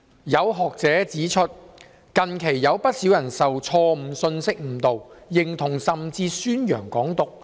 有學者指出，近期有不少人受錯誤信息誤導，認同甚至宣揚港獨。